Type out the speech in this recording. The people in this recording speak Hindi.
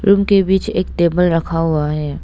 रूम के बीच एक टेबल रखा हुआ है।